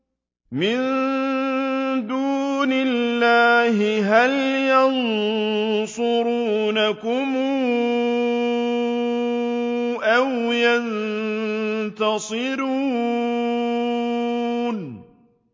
مِن دُونِ اللَّهِ هَلْ يَنصُرُونَكُمْ أَوْ يَنتَصِرُونَ